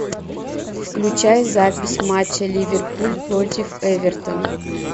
включай запись матча ливерпуль против эвертона